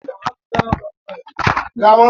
Akụkụ ọdịda anyanwụ nke Naijiria na-asụ Yoruba.